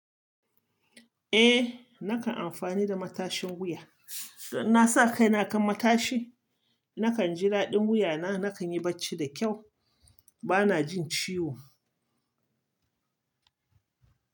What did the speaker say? Eh, nakan amfani da matashin wuya. Don in na sa kai na akan matashi. Nakan jida din wuya na, na kan yi bacci da kyau. Ba na jin ciwo.